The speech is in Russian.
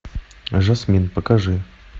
жасмин покажи